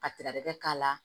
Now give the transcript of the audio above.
Ka tɛrɛ k'a la